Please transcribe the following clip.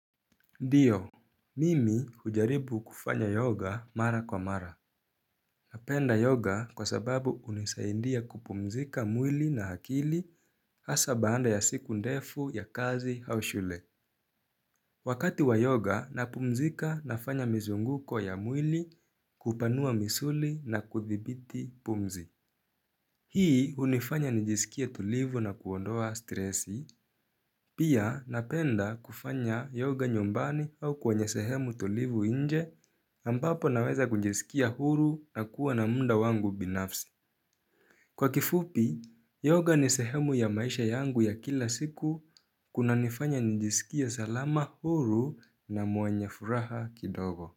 Ndio Mimi hujaribu kufanya yoga mara kwa mara Napenda yoga kwa sababu hunisaindia kupumzika mwili na akili hasa baanda ya siku ndefu ya kazi au shule Wakati wa yoga napumzika nafanya mizunguko ya mwili kupanua misuli na kuthibiti pumzi Hii unifanya nijisikia tulivu na kuondoa stresi Pia napenda kufanya yoga nyumbani au kwenye sehemu tulivu nje ambapo naweza kujiskia huru na kuwa na munda wangu binafsi. Kwa kifupi, yoga ni sehemu ya maisha yangu ya kila siku kuna nifanya nijiskia salama huru na mwenye furaha kidogo.